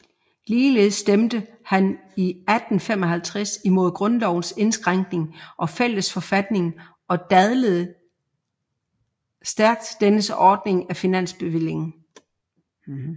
Ligeledes stemte han 1855 imod grundlovens indskrænkning og fællesforfatningen og dadlede stærkt dennes ordning af finansbevillingen